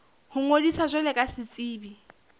ho ngodisa jwalo ka setsebi